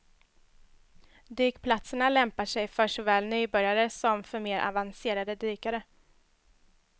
Dykplatserna lämpar sig för såväl nybörjare som för mer avancerade dykare.